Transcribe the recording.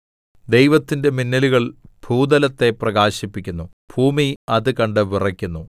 ദൈവത്തിന്റെ മിന്നലുകൾ ഭൂതലത്തെ പ്രകാശിപ്പിക്കുന്നു ഭൂമി അത് കണ്ട് വിറയ്ക്കുന്നു